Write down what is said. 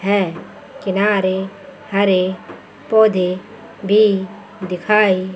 है किनारे हरे पौधे भी दिखाई--